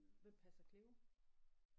Hvem passer Cleo?